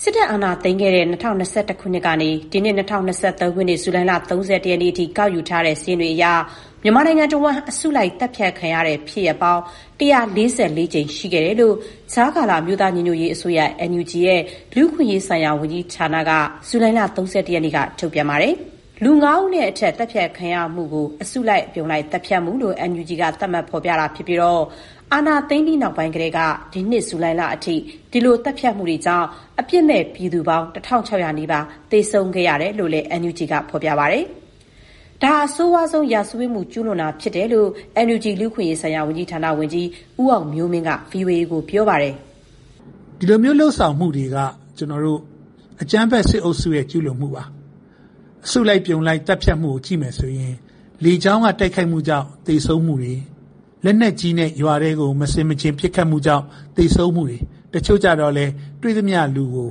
စစ်တပ် အာဏာသိမ်းခဲ့တဲ့ ၂၀၂၁ ခုနှစ်ကနေ ဒီနှစ် ၂၀၂၃ ဇူလိုင်လ ၃၁ ရက်နေ့ထိ ကောက်ယူထားတဲ့စာရင်းတွေအရ မြန်မာနိုင်ငံတဝန်း အစုလိုက် သတ်ဖြတ်ခံရတဲ့ ဖြစ်ရပ်ပေါင်း ၁၄၄ ကြိမ်ရှိခဲ့တယ်လို့ ကြားကာလ အမျိုးသားညီညွတ်ရေးအစိုးရ (NUG) လူ့အခွင့်အရေးဆိုင်ရာ ၀န်ကြီး ဌာနက ဇူလိုင်လ ၃၁ ရက်နေ့က ထုတ်ပြန်လိုက်တာပါ။ လူ ၅ ဦး နဲ့အထက် သတ်ဖြတ်ခံရမှုကို အစုလိုက် အပြုံလိုက် သတ်ဖြတ်မှုလို့ NUG က သတ်မှတ် ဖော်ပြတာ ဖြစ်ပြီး အာဏာသိမ်းပြီးကတည်းကနေ ဒီနှစ် ဇူလိုင်လ အထိ ဒီလို သတ်ဖြတ်မှုတွေကြောင့် အပြစ်မဲ့ ပြည်သူ ၁,၆၀၀ နီးပါး အသတ်ခံခဲ့ရတယ်လို့ NUG က ပြောပါတယ်။ ဒါဟာ အဆိုးရွားဆုံး စစ်ရာဇဝတ်မှု ကျူးလွန်တာ ဖြစ်တယ်လို့ NUG လူ့အခွင့်အရေးဆိုင်ရာ ၀န်ကြီးဌာန ဝန်ကြီး ဦးအောင်မျိုးမင်းက ဗွီအိုအေကို ပြောပါတယ်။ "ဒီလိုမျိုးလုပ်ဆောင်မှုတွေက အကြမ်းဖက်စစ်အုပ်စုရဲ့ ကျူးလွန်မှုပါ။ အစုလိုက် အပြုံလိုက်သတ်ဖြတ်မှုတွေကို ကြည့်ရင် လေကြောင်းက တိုက်ခိုက်မှုတွေကြောင့် သေဆုံးမှုတွေလက်နက်ကြီးနဲ့ရွာထဲကို မဆင်မခြင်ပစ်ခတ်မှုကြောင့် သေဆုံးမှုတွေ တချို့ကျတော့လည်း တွေ့သမျှလူကို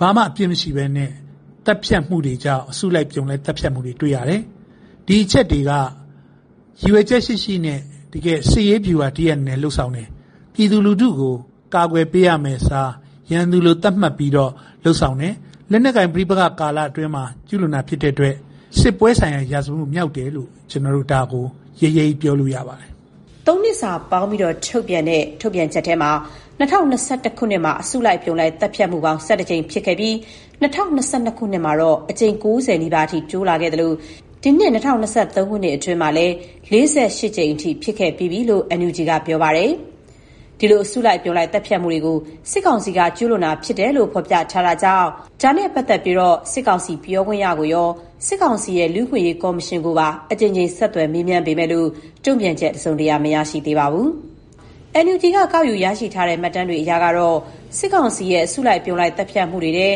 ဘာမှမဟုတ်ဘဲ သတ်ဖြတ်တာတွေကြောင့် အစုလိုက်အပြုံလိုက် သတ်ဖြတ်တာတွေ တွေ့ရတယ်။ ဒီအချက်တွေက ရည်ရွယ်ချက်ရှိရှိနဲ့ တကယ် စစ်ရေးဗျူဟာတရပ် အနေနဲ့ လုပ်ဆောင်နေတာ။ ပြည်သူကို ကာကွယ်ပေးရမယ့် အစား ရန်သူလို သတ်မှတ်ပြီး လုပ်ဆောင်တယ်။ လက်နက်ကိုင် ပဋိပက္ခကာလအတွင်း ကျူးလွန်တာ ဖြစ်တဲ့အတွက် စစ်ပွဲဆိုင်ရာ ရာဇဝတ်မြောက်တယ်လို့ ကျနော်တို့ ရဲရဲကြီးပြောလို့ ရပါတယ်။" ၃ နှစ်စာပေါင်းပြီး ထုတ်ပြန်တာမှာ ၂၀၂၁ ခုနှစ်မှာ အစုလိုက် အပြုံလိုက် သတ်ဖြတ်မှု ၁၁ ကြိမ် ဖြစ်ခဲ့ပြီး ၂၀၂၂ ခုနှစ်မှာ အကြိမ် ၉၀ နီးပါးအထိ တိုးလာခဲ့သလို၊ ဒီနှစ် ၂၀၂၃ ခုနှစ်အတွင်းမှာလည်း ၄၈ ကြိမ် ဖြစ်ခဲ့ပြီးပြီလို့ NUG က ပြောပါတယ်။ ဒီအစုလိုက် အပြုံလိုက် သတ်ဖြတ်မှုတွေကို စစ်ကောင်စီဘက်က ကျူးလွန်တာ ဖြစ်တယ်လို့ ဖော်ပြထားတာမို့ စစ်ကောင်စီပြောခွင့်ရကိုရော၊ စစ်ကောင်စီရဲ့ လူ့အခွင့်အရေး ကော်မရှင်ကိုပါ အကြိမ်ကြိမ် ဆက်သွယ်မေးမြန်းပေမဲ့ တုံ့ပြန်ချက် တစုံတရာ မရရှိသေးပါဘူး။ ကောက်ယူရရှိထားတဲ့ မှတ်တမ်းတွေအရ စစ်ကောင်စီရဲ့ အစုလိုက် အပြုံလိုက် သတ်ဖြတ်မှုတွေထဲ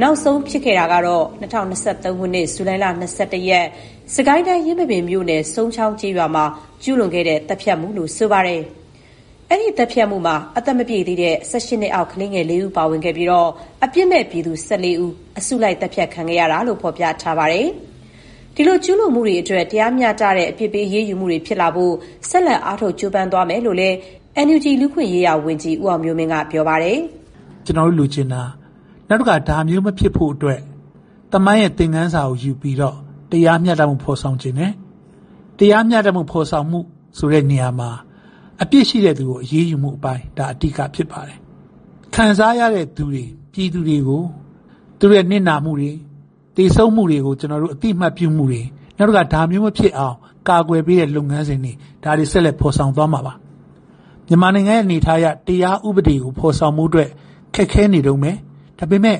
နောက်ဆုံး ဖြစ်ခဲ့တာကတော့ ၂၀၂၃ ခုနှစ်၊ ဇူလိုင်လ ၂၁ ရက်နေ့၊ စစ်ကိုင်းတိုင်း၊ ယင်းမာပင်မြို့နယ်၊ စုန်းချောင်း ကျေးရွာမှာ ကျူးလွန်ခဲ့တဲ့ သတ်ဖြတ်မှုလို့ ဆိုပါတယ်။ အဲဒီသတ်ဖြတ်မှုမှာ အသက်မပြည့်သေးတဲ့ (၁၈) နှစ်အောက်ကလေး (၄) ဦး ပါဝင်ခဲ့ပြီး အပြစ်မဲ့ပြည်သူ (၁၄) ဦး အစုလိုက် သတ်ဖြတ်ခံခဲ့ရတယ်လို့ ဖော်ပြထားပါတယ်။ ဒီလို ကျူးလွန်မှုတွေ အတွက် တရားမျှတတဲ့ အပြစ်ပေးအရေးယူမှုတွေ ဖြစ်လာဖို့ ဆက်လက် အားထုတ် ကြိုးပမ်းသွားမယ်လို့လည်း NUG လူ့အခွင့်အရေးဝန်ကြီး ဦးအောင်မျိုးမင်းက ပြောပါတယ်။ "ကျနော်တို့လိုချင်တာ နောက်တခါ ဒါမျိုးမဖြစ်ဖို့အတွက် သမိုင်းသင်ခန်းစာယူပြီးတော့ တရားမျှတမှု ဖော်ဆောင်ချင်တာပါ။ တရားမျှတမှု ဖော်ဆောင်တဲ့အပိုင်းမှာ အပြစ်ရှိတဲ့သူကို အရေးယူတဲ့ အပိုင်းက အဓိကဖြစ်ပါတယ်။ ခံစားရတဲ့ ပြည်သူတွေကို သူတို့ရဲ့နစ်နာမှုတွေ သေဆုံးမှုတွေကို အသိအမှတ်ပြုမှုတွေ၊ နောက်တခါ ဒါမျိုးမဖြစ်အောင် လုပ်ဆောင်ပေးဖို့တွေ၊ ဒါတွေ ဆက်လက် ဖော်ဆောင်ပေးမှာပါ။ မြန်မာနိုင်ငံ အနေအထားအရ တရားဥပဒေကို ဖော်ဆောင်ဖို့ ခက်ခဲနေတုန်းပဲ။ ဒါပေမဲ့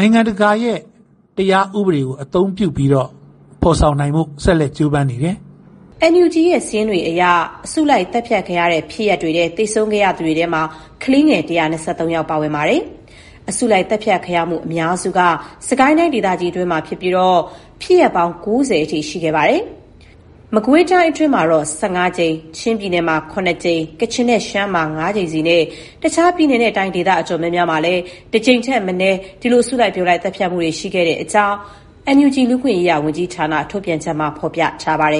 နိုင်ငံတကာ တရားဥပဒေကို အသုံးပြုပြီးတော့ ဖော်ဆောင်နိုင်ဖို့ ဆက်လက် ကြိုးပမ်းနေတယ်။" NUG ရဲ့ စာရင်းတွေအရ သေဆုံးသူတွေထဲမှာ ကလေးငယ် ၁၂၃ ယောက် ပါဝင်ပါတယ်။ အစုလိုက်သတ်ဖြတ်ခံရမှု အများစုက စစ်ကိုင်းတိုင်း ဒေသကြီးအတွင်းမှာဖြစ်ပြီး ဖြစ်ရပ်ပေါင်း ၉၀ အထိ ရှိခဲ့ပါတယ်။ မကွေးတိုင်းမှာတော ၁၅ ကြိမ်၊ ချင်းမှာ ၇ ကြိမ်၊ ကချင်နဲ့ ရှမ်းမှာ ၅ ကြိမ်စီနဲ့ တခြား ပြည်နယ်နဲ့ တိုင်းဒေသ အတော်များများမှာလည်း တကြိမ်ထက်မနည်း ရှိတဲ့အကြောင်း NUG လူ့အခွင့်အရေး ဝန်ကြီးဌာန ထုတ်ပြန်ချက်မှာ ဖော်ပြထားပါတယ်